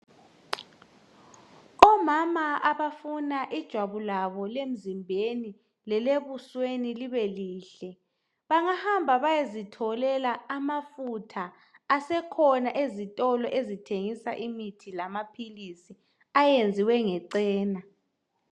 Omama abafuna ijwabu labo lemzimbeni lelebusweni libe lihle bangahamba beyezitholela amafutha asekhona ezitolo ezithengisa imithi lamaphilisi ayenziwe ngecena